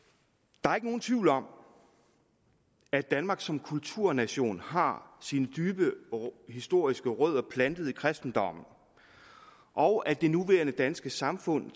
der er ikke nogen tvivl om at danmark som kulturnation har sine historiske rødder dybt plantet i kristendommen og at det nuværende danske samfund